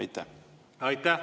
Aitäh!